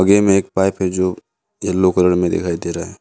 एक पाइप है जो येलो कलर में दिखाई दे रहा है।